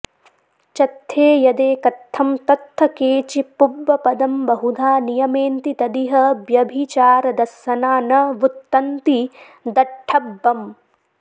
चत्थे यदेकत्थं तत्थ केचि पुब्बपदं बहुधा नियमेन्ति तदिह ब्यभिचारदस्सना न वुत्तन्ति दट्ठब्बं